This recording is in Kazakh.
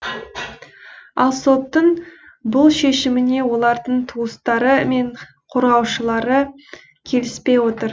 ал соттың бұл шешімімен олардың туыстары мен қорғаушылары келіспей отыр